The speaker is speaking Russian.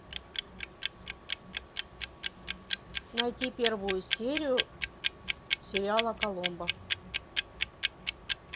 найти первую серию сериала коломбо